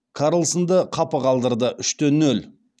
карлссонды қапы қалдырды үште нөл